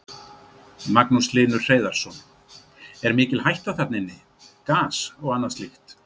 Magnús Hlynur Hreiðarsson: Er mikil hætta þarna inni, gas og annað slíkt?